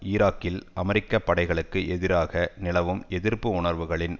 ஈராக்கில் அமெரிக்க படைகளுக்கு எதிராக நிலவும் எதிர்ப்பு உணர்வுகளின்